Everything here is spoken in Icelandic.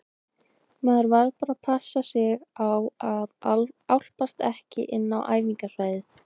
Maður varð bara að passa sig á að álpast ekki inn á æfingasvæðin.